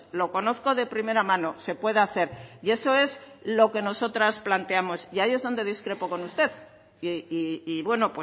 lo conozco de primera mano se puede hacer y eso es lo que nosotras planteamos y ahí es donde discrepo con usted y bueno